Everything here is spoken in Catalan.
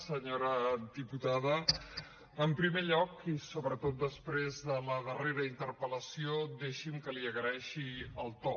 senyora diputada en primer lloc i sobretot després de la darrera interpel·lació deixi’m que li n’agraeixi el to